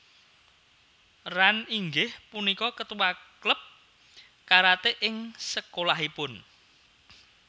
Ran inggih punika ketua klub karate ing sekolahipun